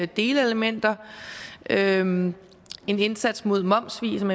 delelementer der er en en indsats mod momssvig som